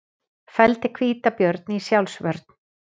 Felldi hvítabjörn í sjálfsvörn